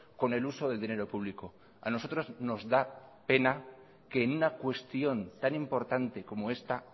con el uso del dinero público a nosotros nos da pena que en una cuestión tan importante como esta